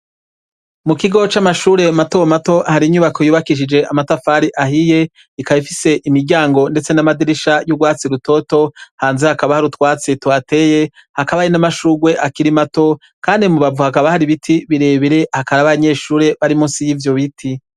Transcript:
Mu kigo c'amashure mato mato hari inyubako yubakishije amatafari ahiye. Ikaba ifise imiryango ndetse n'amadirisha y'urwatsi rutoto. Hanze hakaba hari utwatsi tuhateye hakaba hari n'amashurwe akiri mato, kandi mu mbavu hakaba hari ibiti birebire, hakaba hari abanyeshure bari munsi y'ivyo biti.